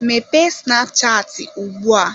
Mepee snapchatị ugbu a!